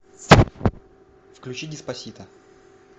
включи деспасито